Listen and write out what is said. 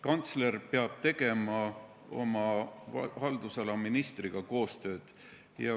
Kantsler peab tegema oma haldusala ministriga koostööd.